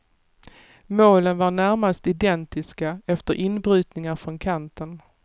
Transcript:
Målen var närmast identiska efter inbrytningar från kanten.